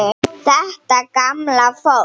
Þetta gamla fólk.